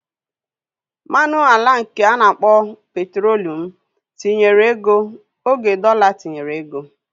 Mmanụ ala nke ana akpọ petrolium tinyere ego oge dọla tinyere ego